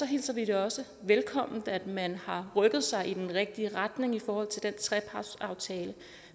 hilser vi det også velkommen at man har rykket sig i den rigtige retning i forhold til den trepartsaftale